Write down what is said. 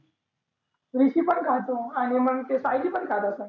विक्की पण खातो आणि मग सायली पण खात असंन.